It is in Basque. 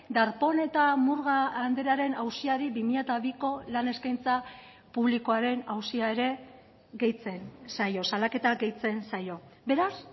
darpón eta murga andrearen auziari bi mila biko lan eskaintza publikoaren auzia ere gehitzen zaio salaketa gehitzen zaio beraz